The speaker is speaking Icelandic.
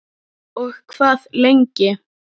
Og hvað lengi?